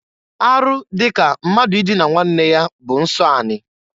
Arụ dị ka mmadụ idina nwanne ya bụ nsọ anị.